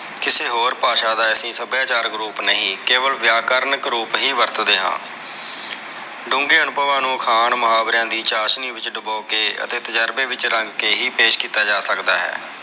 ਕਿਸੇ ਹੋਰ ਭਾਸ਼ਾ ਦਾ ਅਸੀਂ ਸਬਯਾਚਾਰਕ ਰੂਪ ਨਹੀਂ ਕੇਵਲ ਵ੍ਆਕਰਣ ਹੀ ਵਰਤਦੇ ਹਾਂ ਡੂੰਗੇ ਅਨੁਭਵਾਂਨੂੰ ਅਖਾਣ ਮੁਹਾਵਰਿਆਂ ਦੀ ਚਾਸ਼ਨੀ ਵਿਚ ਡੁਬੋ ਕੇ ਅਤੇ ਤੁਜਾਰਬੇ ਵਿਚ ਰੰਗ ਕੇ ਹੀ ਪੇਸ਼ ਕਿੱਤਾ ਜਾ ਸਕਦਾ ਹੈ।